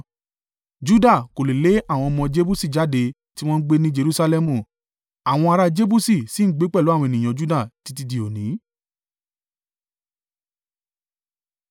Juda kò lè lé àwọn ọmọ Jebusi jáde, tí wọ́n ń gbé ní Jerusalẹmu. Àwọn ará Jebusi sì ń gbé pẹ̀lú àwọn ènìyàn Juda títí dí òní.